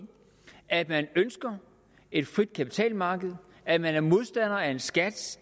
at man ønsker et frit kapitalmarked og at man er modstander af en skat